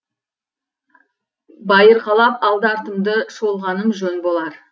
байырқалап алды артымды шолғаным жөн болар